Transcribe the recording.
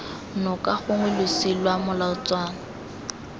noka gongwe losi lwa molatswana